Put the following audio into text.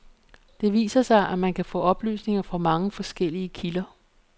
Det viser sig, at man kan få oplysninger fra mange forskellige kilder.